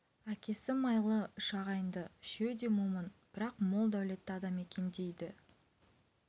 әкесі майлы үш ағайынды үшеуі де момын бірақ мол дәулетті адам екен дейді